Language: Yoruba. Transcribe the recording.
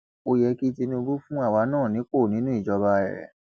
ó yẹ kí tinúbù fún àwa náà nípò nínú ìjọba rẹ